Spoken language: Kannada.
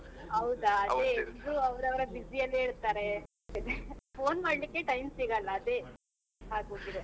ಹೌದ ಎಲ್ರೂ ಅವರವರ busy ಅಲ್ಲೆ ಇರ್ತಾರೆ, phone ಮಾಡ್ಲಿಕ್ಕೆ time ಸಿಗಲ್ಲ ಅದೇ ಆಗೋಗಿದೆ.